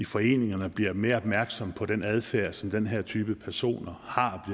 foreningerne bliver mere opmærksomme på den adfærd som den her type personer har